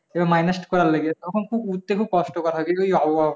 এবার minus করার লাগে তখন উঠতে খুব কষ্টকর হয়।